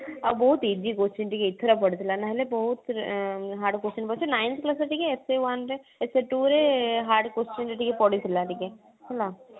ଆଉ ବହୁତ easy question ଟିକେ ଏଥର ପଡିଥିଲା ନହେଲେ ବହୁତ ପିଲା hard question ପଡୁଛି ninth class ରେ ଟିକେ essay one ରେ essay two ରେ hard question ଟିକେ ପଡିଥିଲା ଟିକେ ହେଲା